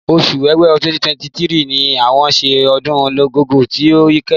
Oṣù Ọwẹ́wẹ̀ 2023 ni wọ́n ṣe ọdún Igogo ti ó kẹ́yìn.